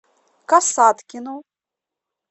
касаткину